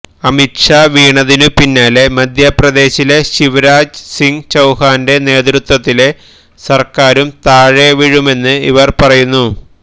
അമിത് ഷാ വീണതിനു പിന്നാലെ മധ്യപ്രദേശിലെ ശിവരാജ് സിങ് ചൌഹാന്റെ നേതൃത്വത്തിലെ സര്ക്കാരും താഴെ വീഴുമെന്ന് ഇവര് പറയുന്നു